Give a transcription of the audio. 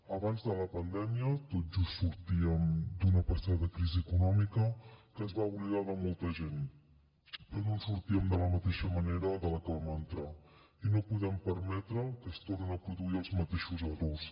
abans de la pandèmia tot just sortíem d’una passada crisi econòmica que es va oblidar de molta gent però no en sortíem de la mateixa manera que la que hi vam entrar i no podem permetre que es tornin a produir els mateixos errors